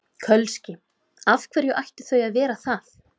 Kölski: Af hverju ættu þau að vera það?